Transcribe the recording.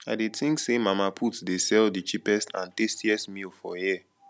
i dey think say mama put dey sell di cheapest and tastiest meal for here